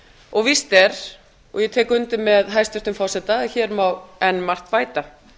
og víst er og ég tek undir með hæstvirtum forseta að hér má enn margt bæta